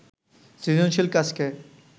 সৃজনশীল কাজকে